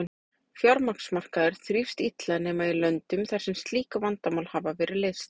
Fjármagnsmarkaður þrífst illa nema í löndum þar sem slík vandamál hafa verið leyst.